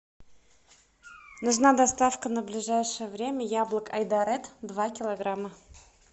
нужна доставка на ближайшее время яблок айдаред два килограмма